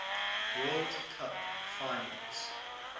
world cup finals